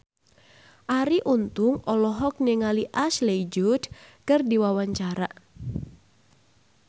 Arie Untung olohok ningali Ashley Judd keur diwawancara